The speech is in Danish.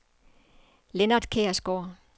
Lennart Kjærsgaard